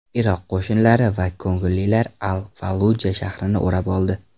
Iroq qo‘shinlari va ko‘ngillilar Al-Falluja shahrini o‘rab oldi.